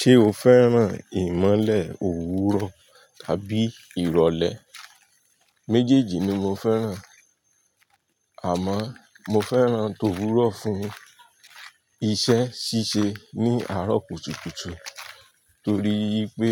Ṣé o fẹ́ràn ìmọ̀le òwúrọ̀ tàbí ìrọ̀lẹ́? Méjèèjì ni mo fẹ́ràn, àmọ́ mo fẹ́ràn tòwúrọ̀ fún iṣẹ́ ṣíṣe ní àárọ̀ kùtùkùtù torí pé